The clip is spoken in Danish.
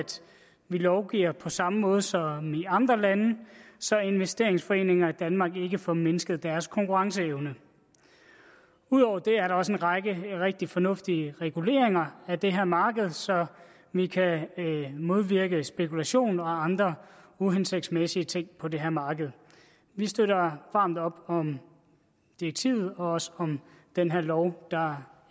vi lovgiver på samme måde som i andre lande så investeringsforeninger i danmark ikke får mindsket deres konkurrenceevne ud over det er der også en række rigtig fornuftige reguleringer af det her marked så vi kan modvirke spekulation og andre uhensigtsmæssige ting på det her marked vi støtter varmt op om direktivet og også om den her lov der